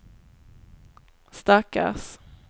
stackars